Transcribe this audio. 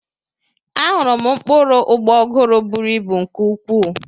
Ahụrụ m mkpụrụ ụgbọguru bụrụ ịbụ nke ukwuu.